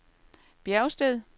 Bjergsted